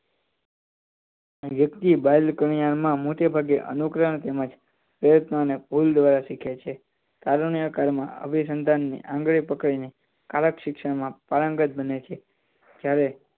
વ્યક્તિ બાળકિયામાં હાલ માં મોટે ભાગે અનુક્રમે તેમજ પછી ભેદભાવ બોલતા શીખે છે ચાલુકાળ માં આવી સંતાન ને આંગળીઓ પકડી ને કળા શિક્ષણ માં પારંગત બને છે